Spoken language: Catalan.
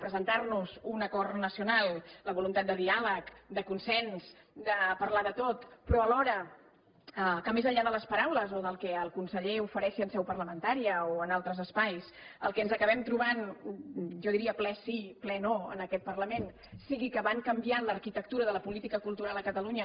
presentar nos un acord nacional la voluntat de diàleg de consens de parlar de tot però alhora que més enllà de les paraules o del que el conseller ofereixi en seu parlamentària o en altres espais el que ens acabem trobant jo diria ple sí ple no en aquest parlament sigui que van canviant l’arquitectura de la política cultural a catalunya